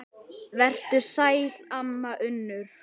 Vertu sæl, amma Unnur.